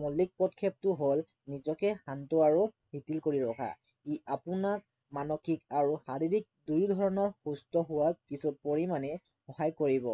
মৌলিক টো হল নিজকে শান্ত আৰু কৰি ৰখা। ই আপোনাক মানসিক আৰু শাৰীৰিক দুইধৰণৰ সুস্থ হোৱাত কিছু পৰিমাণে সহায় কৰিব।